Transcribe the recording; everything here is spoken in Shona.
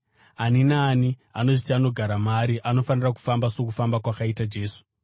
Ani naani anozviti anogara maari anofanira kufamba sokufamba kwakaita Jesu.